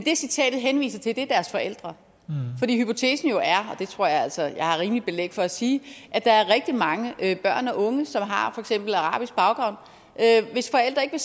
det citatet henviser til er deres forældre fordi hypotesen jo er og det tror jeg altså jeg har rimeligt belæg for at sige at der er rigtig mange børn og unge som har for eksempel arabisk baggrund hvis forældre ikke